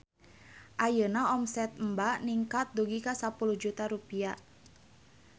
Ayeuna omset Emba ningkat dugi ka 10 juta rupiah